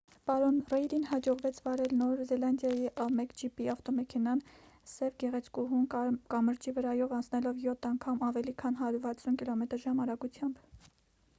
պարոն ռեյդին հաջողվեց վարել նոր զելանդիայի a1gp ավտոմեքենան՝ սև գեղեցկուհուն՝ կամրջի վրայով անցնելով յոթ անգամ՝ ավելի քան 160 կմ/ժ արագությամբ։